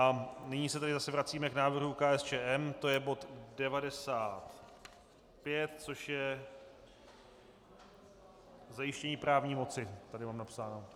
A nyní se tedy zase vracíme k návrhu KSČM, to je bod 95, což je zajištění právní moci, tady mám napsáno.